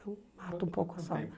Então, mata um pouco a